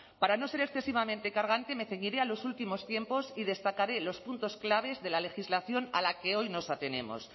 para no ser excesivamente cargante me ceñiré a los últimos tiempos y destacaré los puntos claves de la legislación a la que hoy nos atenemos